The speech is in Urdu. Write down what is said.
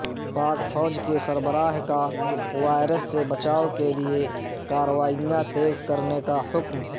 پاک فوج کے سربراہ کا وائرس سے بچائو کیلئے کارروائیاں تیز کرنے کا حکم